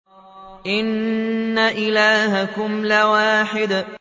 إِنَّ إِلَٰهَكُمْ لَوَاحِدٌ